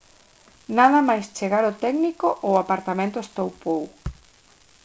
nada máis chegar o técnico o apartamento estoupou